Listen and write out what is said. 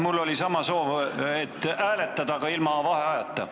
Mul oli sama soov: hääletada, aga ilma vaheajata.